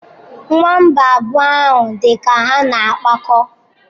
Nwamba abụọ ahụ dị ka ha na-akpakọ.